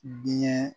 Diɲɛ